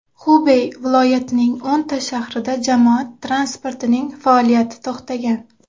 Xubey viloyatining o‘nta shahrida jamoat transportining faoliyati to‘xtagan.